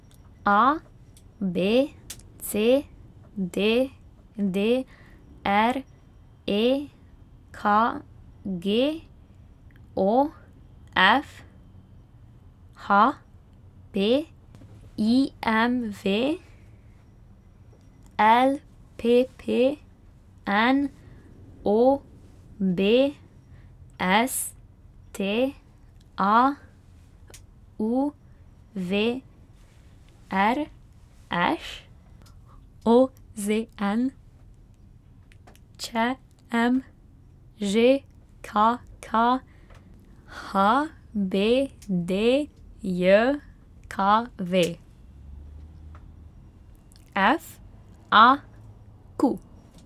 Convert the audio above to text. A B C; D D R; E K G; O F; H P; I M V; L P P; N O B; S T A; U V; R Š; O Z N; Č M; Ž K K; H B D J K V; F A Q.